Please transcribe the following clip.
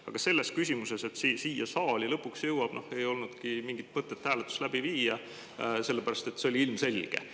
Aga selles küsimuses, et siia saali lõpuks jõuab, ei olnudki mingit mõtet hääletust läbi viia, sellepärast et see oli ilmselge.